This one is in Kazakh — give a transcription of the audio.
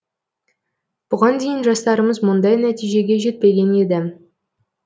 бұған дейін жастарымыз мұндай нәтижеге жетпеген еді